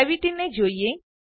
gravity ને જોઈએ